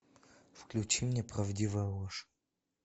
включи мне правдивая ложь